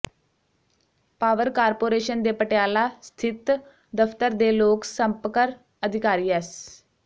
power corporation ਦੇ ਪਟਿਆਲਾ ਸਥਿੱਤ ਦਫਤਰ ਦੇ ਲੋਕ ਸੰਪਕਰ ਅਧਿਕਾਰੀ ਐਸ